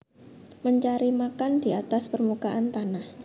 Mencari makan di atas permukaan tanah